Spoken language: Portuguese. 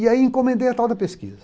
E aí encomendei a tal da pesquisa.